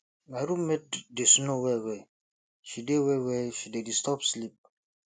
my room mate dey snore wellwell she dey wellwell she dey disturb sleep